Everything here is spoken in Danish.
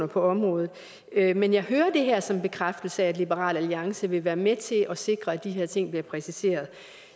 på området men jeg hører det her som en bekræftelse af at liberal alliance vil være med til at sikre at de her ting bliver præciseret